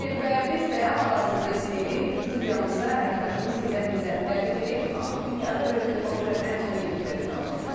Bəli, və biz də hal-hazırda istəyirik studiyamıza əməkdaşımız Heydər Mirzəni dəvət eləyək ki, baxaq dünyada və ölkədə baş verən ən son yeniliklərdən məlumat versin.